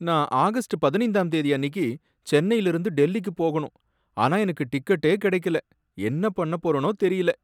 நான் ஆகஸ்ட் பதினைந்தாம் தேதி அன்னிக்கு சென்னைல இருந்து டெல்லிக்கு போகணும், ஆனா எனக்கு டிக்கெட்டே கிடைக்கல, என்ன பண்ணப் போறேனோ தெரியல